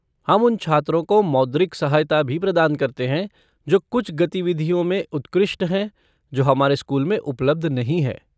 हम उन छात्रों को मौद्रिक सहायता भी प्रदान करते हैं जो कुछ गतिविधियों में उत्कृष्ट हैं जो हमारे स्कूल में उपलब्ध नहीं हैं।